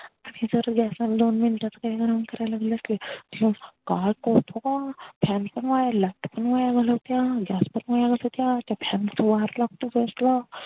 मी जर ग्यास वर दोन मिनिट काही गरम करायली असली कि काय कळत का नाय fan पण gas पण वाया घालवतेया त्या fan च वार लागत gas ला